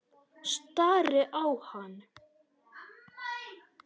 Stari á hana.